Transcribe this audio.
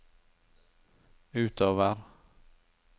utover